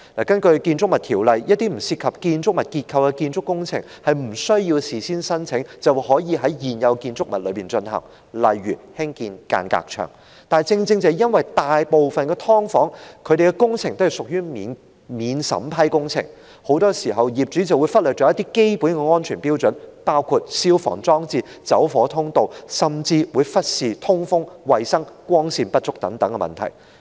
根據《建築物條例》，一些不涉及建築物結構的建築工程無須事先申請，便可以在現有建築物內進行，例如興建間隔牆；但正正由於大部分"劏房"的工程均屬免審批工程，業主很多時候便會忽略基本的安全標準，包括消防裝置、走火通道，甚至忽視通風、衞生、光線不足等問題。